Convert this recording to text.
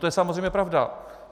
To je samozřejmě pravda.